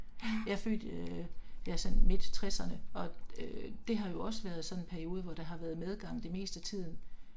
Jeg er født øh jeg er sådan midt 60'erne, og øh det har jo også været sådan en periode hvor der har været medgang det meste af tiden